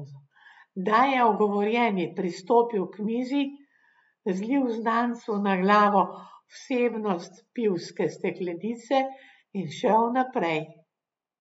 Da je ogovorjeni pristopil k mizi, zlil znancu na glavo vsebnost pivske steklenice in šel naprej.